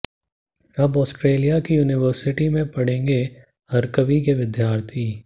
अब आस्ट्रेलिया की यूनिवर्सिटी में पढ़ेंगे हकृवि के विद्यार्थी